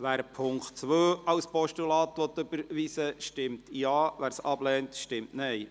Wer den Punkt 2 als Postulat überweisen kann, stimmt Ja, wer dies ablehnt, stimmt Nein.